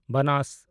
ᱵᱟᱱᱟᱥ